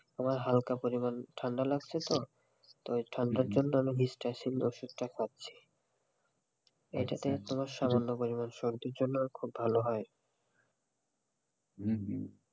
আমার হালকা পরিমান ঠান্ডা লাগছেতো তো এই ঠান্ডা জন্য আমার হিস্টাসিন ওষুধটা খাচ্ছি এটাতে তোমার সামান্য পরিমান সর্দির জন্য ভালো হয়.